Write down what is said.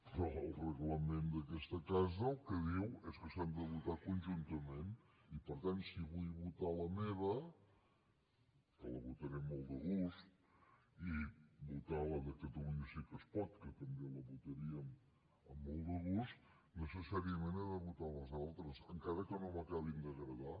però el reglament d’aquesta casa el que diu és que s’han de votar conjuntament i per tant si vull votar la meva que la votaré amb molt de gust i votar la de catalunya sí que es pot que també la votaríem amb molt de gust necessàriament he de votar les altres encara que no m’acabin d’agradar